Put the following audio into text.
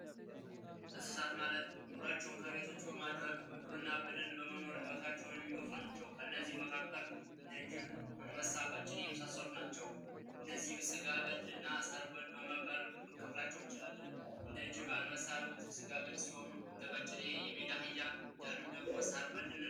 የዱር እንስሳት ማለት ኖሯቸውን ከቤት ውጭ በማድረግ በደን ውስጥ እና በውጭ ኑሯቸውን የሚገፉ ናቸው። ከነዚህ መካከል እንደ ጅብ፣ አንበሳ፣ ቀጭኔ የመሳሰሉት ናቸው። እነዚህንም ስጋ በልና እጽዋት በል በማለት ልንከፍላቸው እንችላለን፥ እንደ ጅብ አንበሳ ያሉት ስጋ በል ሲሆኑ እንደቀጭኔና የሜዳ አህያ ያሉት ደግሞ ሳር በል እንላቸዋለን።